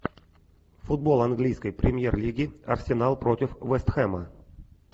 футбол английской премьер лиги арсенал против вест хэма